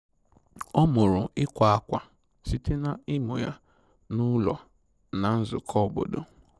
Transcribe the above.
Ọ mụrụ ịkwa akwa site na ịmụ ya na ụlọ na nzukọ obodo